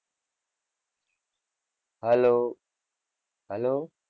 hellohello